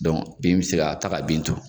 bin bɛ se ka taa ka bin to.